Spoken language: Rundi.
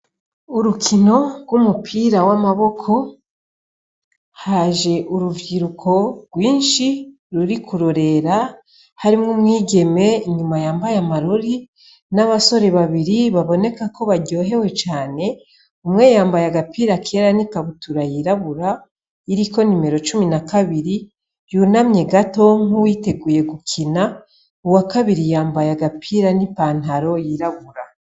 Urukino rw'umupira w'amaboko haje uruvyiruko rwinshi ruri kurorera harimwo umwigeme inyuma yambaye amarori n'abasore babiri baboneka ko baryohewe cane umweyambaye agapira kera n'ikabutura yirabura iriko nimero cumi na kabiri yuna mye gatonk''uwiteguye gukina uwa kabiri yambaye agapira n'i pantaro yirabura.